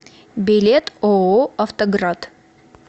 билет ооо автоград